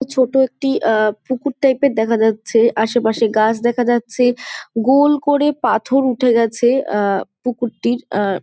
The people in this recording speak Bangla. ছোটো একটি অ্যা পুকুর টাইপ এর দেখা যাচ্ছে আশেপাশে গাছ দেখা যাচ্ছে গোল করে পাথর উঠে গেছে অ্যা পুকুরটির অ্যা- অ্যা--